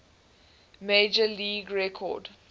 major league record